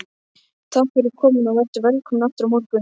Takk fyrir komuna og vertu velkomin aftur á morgun.